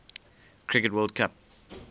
cricket world cup